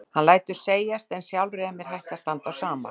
Hann lætur segjast en sjálfri er mér hætt að standa á sama.